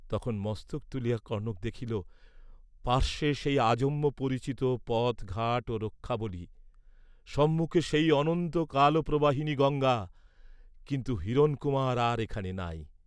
তখন মস্তক তুলিয়া কনক দেখিল, পার্শ্বে সেই আজন্মপরিচিত পথ ঘাট ও রক্ষাবলী, সম্মুখে সেই অনন্ত কালপ্রবাহিনী গঙ্গা, কিন্তু হিরণকুমার আর এখানে নাই।